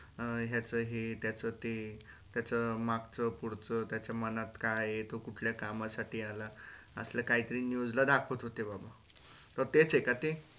ह याच हे त्याच ते त्याच मगच पुढच त्याचा मनात काय हे तो कुठल्या कामासाठी आला असलं काहीतरी news दाखवत होते बाबा.